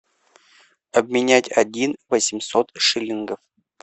обменять один восемьсот шиллингов